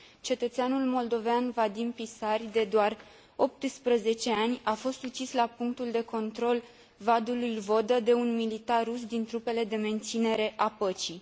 Cetățeanul moldovean Vadim Pisari, de doar 18 ani, a fost ucis la punctul de control Vadul lui Vodă, de un militar rus din trupele de menținere a păcii.